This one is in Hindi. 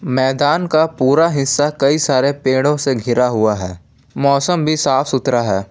मैदान का पूरा हिस्सा कई सारे पेड़ो से घिरा हुआ है मौसम भी साफ सुथरा है।